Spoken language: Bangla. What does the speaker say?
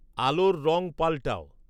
আলোর রঙ পাল্টাও